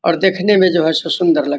और देखने में जो है सो सुन्दर लगता --